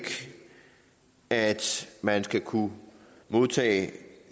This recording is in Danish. at man skal kunne modtage